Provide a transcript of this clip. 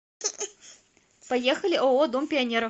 поехали ооо дом пионеров